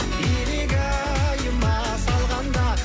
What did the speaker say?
илигайыма салғанда